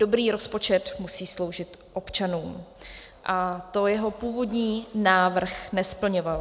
Dobrý rozpočet musí sloužit občanům a to jeho původní návrh nesplňoval.